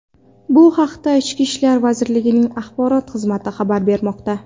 Bu haqda Ichki ishlar vazirligining axborot xizmati xabar bermoqda .